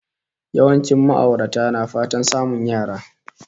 Yawancin ma'aurata na fatan samun yara